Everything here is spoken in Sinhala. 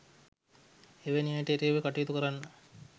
එවැනි අයට එරෙහිව කටයුතු කරන්න